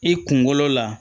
I kunkolo la